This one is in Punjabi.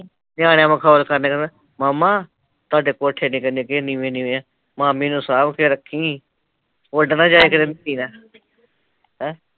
ਨਿਆਣਿਆ ਮਖੌਲ ਕਰਨਾ ਕਹਿਣਾ, ਮਾਮਾ ਤੁਹਾਡੇ ਕੋਠੇ ਦੇਖ ਕਿੰਨੇ ਨੀਵੇ ਨੀਵੇ ਐ, ਮਾਮੀ ਨੂੰ ਸਾਂਬ ਕੇ ਰੱਖੀ ਉੱਡ ਨਾ ਜਾਏ ਕਿਤੇ ਨੇਰੀ ਨਾਲ਼ ਹੈ